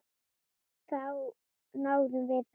Þá náðum við þessu.